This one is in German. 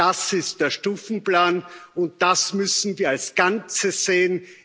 Das ist der Stufenplan und das müssen wir als Ganzes sehen.